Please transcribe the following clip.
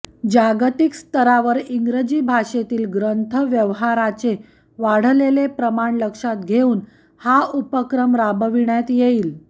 जागतिक स्तरावर इंग्रजी भाषेतील ग्रंथव्यवहाराचे वाढलेले प्रमाण लक्षात घेऊन हा उपक्रम राबविण्यात येईल